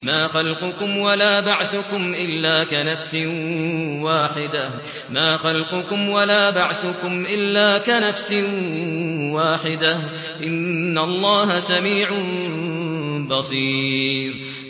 مَّا خَلْقُكُمْ وَلَا بَعْثُكُمْ إِلَّا كَنَفْسٍ وَاحِدَةٍ ۗ إِنَّ اللَّهَ سَمِيعٌ بَصِيرٌ